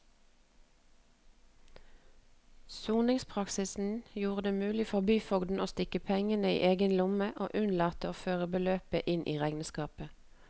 Soningspraksisen gjorde det mulig for byfogden å stikke pengene i egen lomme og unnlate å føre beløpet inn i regnskapet.